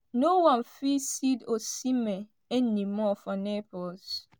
“no one fit see osimhen anymore for naples.”